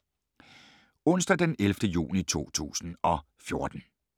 Onsdag d. 11. juni 2014